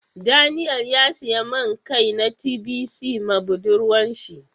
Daniel ya siya main Kai na tbc ma budurwan shi.